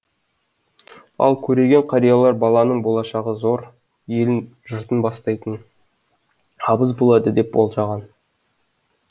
ал көреген қариялар баланың болашағы зор елін жұртын бастайтын абыз болады деп болжаған